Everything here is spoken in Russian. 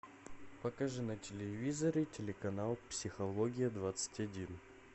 покажи на телевизоре телеканал психология двадцать один